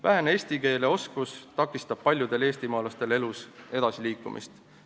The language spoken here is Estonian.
Vähene eesti keele oskus takistab paljudel eestimaalastel elus edasiliikumist.